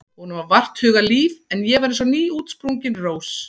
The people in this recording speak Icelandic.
Honum var vart hugað líf en ég var eins og nýútsprungin rós.